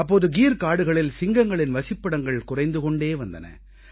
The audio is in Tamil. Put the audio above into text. அப்போது கீர் காடுகளில் சிங்கங்களின் வசிப்பிடங்கள் குறைந்து கொண்டே வந்தன